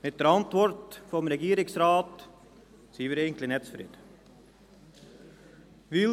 Mit der Antwort vom Regierungsrat sind wir eigentlich nicht zufrieden.